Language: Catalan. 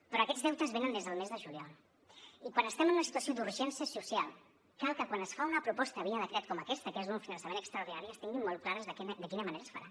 però aquests deutes venen des del mes de juliol i quan estem en una situació d’urgència social cal que quan es fa una proposta via decret com aquesta que és un finançament extraordinari es tingui molt clar de quina manera es farà